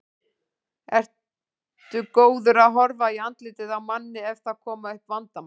Ertu góður að horfa í andlitið á manni ef það koma upp vandamál?